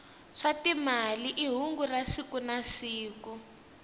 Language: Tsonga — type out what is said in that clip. swa timali i hungu ra siku nasiku